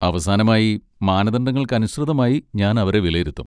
അവസാനമായി, മാനദണ്ഡങ്ങൾക്കനുസൃതമായി ഞാൻ അവരെ വിലയിരുത്തും.